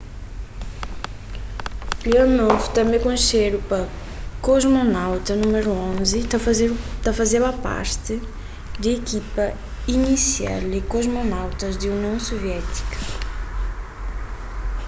leonov tanbê konxedu pa kosmonauta nº 11” ta fazeba parti di ikipa inisial di kosmonautas di union suviétika